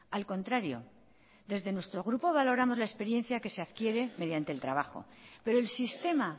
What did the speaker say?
al contrario desde nuestro grupo valoramos la experiencia que se adquiere mediante el trabajo pero el sistema